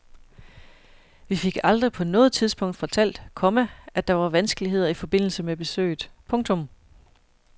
Vi fik aldrig på noget tidspunkt fortalt, komma at der var vanskeligheder i forbindelse med besøget. punktum